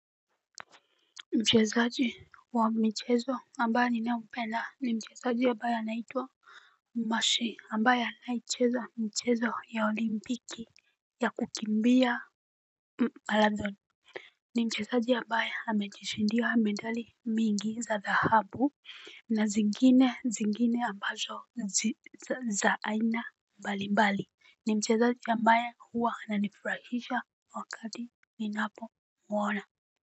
Mchezaji wa mchezo ambaye ninayependa ni mchezaji ya ambaye anaitwa Mashi ambaye anayecheza michezo ya olimpiki ya kukimbia Marathon. Ni mchezaji ya ambaye amejishindia medali mingi za dhahabu. Na zingine zingine ambazo za aina mbali mbali ni mchezaji ambaye huwa ananifurahisha wakati ninapomwona.